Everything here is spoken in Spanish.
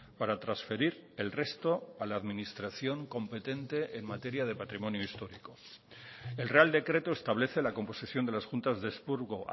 para transferir el resto a la administración competente en materia de patrimonio histórico el real decreto establece la composición de las juntas de expurgo